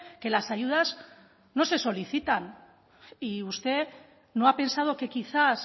que las ayudas no se solicitan y usted no ha pensado que quizás